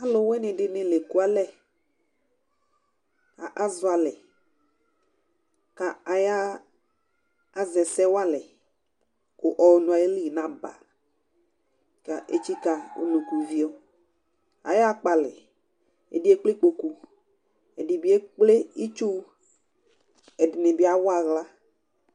Aluvi nʋ asɩ ekualɛ kʋ akekele umenu sɛAluvi wanɩ asa ɔvlɛ nʋ ʋlɩ,ɛblɔ, ɛdɩnɩ lɛ ɔɣlɔmɔ, ɛdɩnɩ lɛ ʋgbatawla; asɩ wanɩ bɩ akɔ ɔvlɛ nʋ ukponu, ʋgbatawla Alʋwɩnɩ dɩnɩ la ekualɛAzɔ alɛ kʋ aya zɛ ɛsɛ walɛ, ɔnʋ ayili naba, kʋ etsikǝ uvio; aya kpɔalɛ, ɛdɩ kple ikpoku, ɛdɩ ekple itsu, ɛdɩnɩ bɩ awa aɣlaʋ